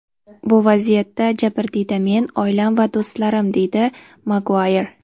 Bu vaziyatda jabrdiyda men, oilam va do‘stlarim”, deydi Maguayr.